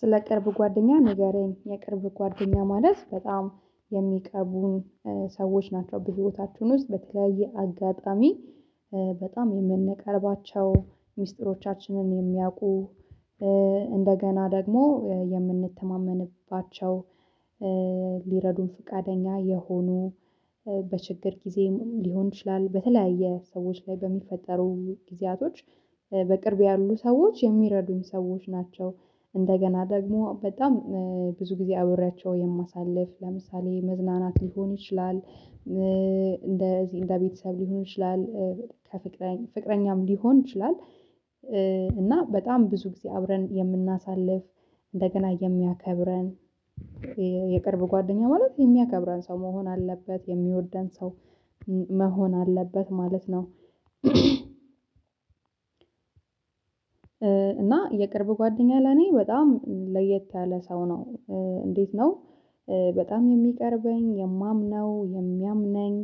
ስለ ቅርብ ጓደኛ ንገረኝ የቅርብ ጓደኛ ማለት በጣም የሚቀርቡኝ ሰዎች ናቸው። በህይወታችሁ ውስጥ በተለያየ አጋጣሚ በጣም የምንቀርባቸው ሚስጥሮቻችንን የሚያውቁ እንደገና ደግሞ የምንተማመንባቸው ሊረዱን ፍቃደኛ የሆኑ። በችግር ጊዜም ሊሆን ይችላል በተለያየ ሰዎች ላይ በሚፈጠሩ ጊዜያቶች በቅርብ ያሉ ሰዎች የሚረዱኝ ሰዎች ናቸው። እንደገና ደግሞ በጣም ብዙ ጊዜ አብሬያቸው የማሳልፍ ለምሳሌ መዝናናት ሊሆን ይችላል እንደ እዚህ እንደ ቤተሰብ ሊሆን ይችላል። ከፍቅረኛ ፍቅረኛም ሊሆን ይችላል። እና በጣም ብዙ ጊዜ አብረን የምናሳልፍ እንደገና የሚያከብረን የቅርብ ጓደኛ ማለት የሚያከብረን ሰው መሆን አለበት የሚወደን ሰው መሆን አለበት ማለት ነው። እና የቅርብ ጓደኛ ለኔ በጣም ለየት ያለ ሰው ነው። እንዴት ነው? በጣም የሚቀርበኝ የማምነው የሚያምነኝ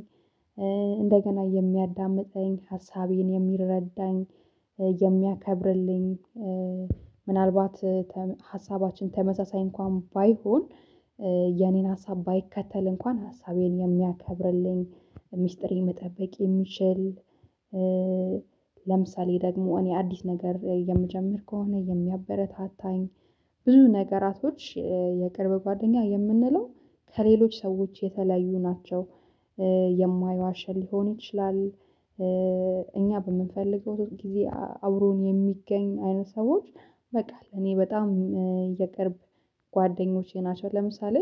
እንደገና የሚያዳምጠኝ ሀሳቤን የሚረዳኝ የሚያከብርልኝ ምናልባት ሀሳባችን ተመሳሳይ እንኳን ባይሆን የኔን ሀሳብ ባይከተል እንኳን ሀሳቤን የሚያከብርልኝ ሚስጥር መጠበቅ የሚችል። ለምሳሌ ደግሞ እኔ አዲስ ነገር የምጀምር ከሆነ የሚያበረታታኝ። ብዙ ነገራቶች የቅርብ ጓደኛ የምንለው ከሌሎች ሰዎች የተለያዩ ናቸው። የማይዋሸ ሊሆን ይችላል። እኛ በምንፈልገው ጊዜ አብሮን የሚገኝ አይነት ሰዎች። በቃ እኔ በጣም የቀረብ ጓደኞቼ ናቸው። ለምሳሌ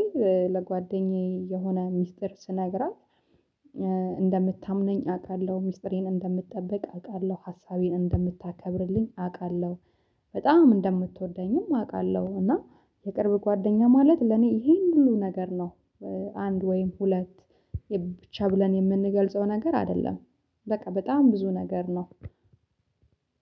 ለጓደኛዬ የሆነ ሚስጥር ስነግራት እንደምታምነኝ አውቃለሁ ሚስጥሬን እንደምትጠብቅ አውቃለሁ ሀሳቤን እንደምታከብርልኝ አውቃለሁ። በጣም እንደምትወደኝም አውቃለሁ። እና የቅርብ ጓደኛ ማለት ለኔ ይሄን ሁሉ ነገር ነው። አንድ ወይም ሁለት ብቻ ብለን የምንገልጸው ነገር አይደለም። በቃ በጣም ብዙ ነገር ነው።